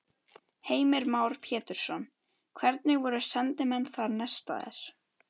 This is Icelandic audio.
Heimir Már Pétursson: Hvernig voru sendimenn þar nestaðir?